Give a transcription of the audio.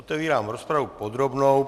Otevírám rozpravu podrobnou.